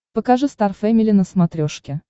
покажи стар фэмили на смотрешке